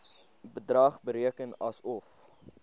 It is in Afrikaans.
bedrag bereken asof